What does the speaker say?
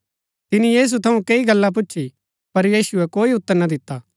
तिनी यीशु थऊँ कैई गल्ला पुछी पर यीशुऐ कोई उतर ना दिता